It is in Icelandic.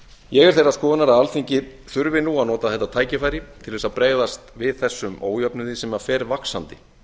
ég er þeirrar skoðunar að alþingi þurfi nú að nota þetta tækifæri til að bregðast við þessum ójöfnuði sem fer vaxandi